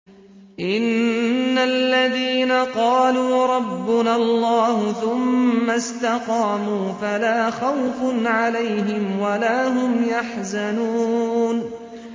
إِنَّ الَّذِينَ قَالُوا رَبُّنَا اللَّهُ ثُمَّ اسْتَقَامُوا فَلَا خَوْفٌ عَلَيْهِمْ وَلَا هُمْ يَحْزَنُونَ